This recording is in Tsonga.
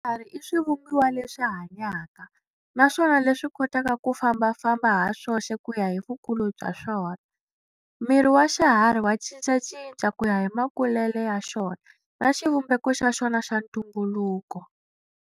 Swiharhi i swivumbiwa leswi hanyaka, naswona leswi kotaka ku fambafamba haswoxe kuya hi vukulu bya swona. Miri wa xiharhi wa cincacinca kuya hi makulele ya xona na xivumbeko xa xona xa ntumbuluko.